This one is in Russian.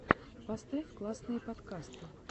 поставь классные подкасты